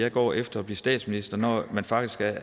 han går efter at blive statsminister når man faktisk er